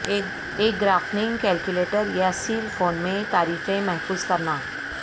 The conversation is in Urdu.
ایک گرافنگ کیلکولیٹر یا سیل فون میں تعریفیں محفوظ کرنا